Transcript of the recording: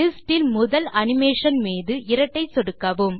லிஸ்டில் முதல் அனிமேஷன் மீது இரட்டை சொடுக்கவும்